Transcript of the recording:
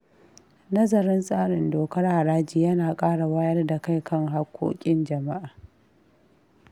Nazarin tsarin dokar haraji ya na ƙara wayar da kai kan hakkokin jama’a.